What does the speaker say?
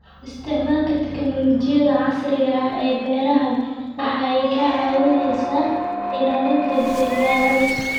Isticmaalka tignoolajiyada casriga ah ee beeraha waxa ay ka caawisaa ilaalinta dalagyada.